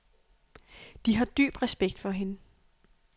De har dyb respekt for hende.